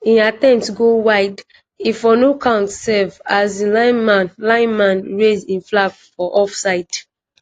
e attempt go wide e for no count sef as di linesman linesman raise e flag for offside.